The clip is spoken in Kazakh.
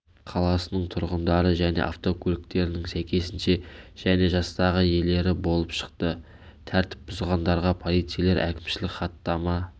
қаласының тұрғындары және автокөліктерінің сәйкесінше және жастағы иелері болып шықты тәртіп бұзғандарға полицейлер әкімшілік хаттама